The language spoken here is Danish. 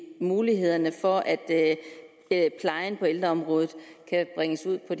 mulighederne for at plejen på ældreområdet kan bringes ud på